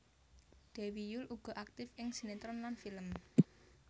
Dewi Yull uga aktif ing sinetron lan film